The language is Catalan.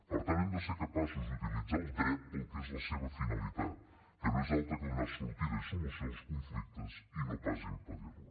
per tant hem de ser capaços d’utilitzar el dret per a la que és la seva finalitat que no és altra que donar sortida i solució als conflictes i no pas impedir la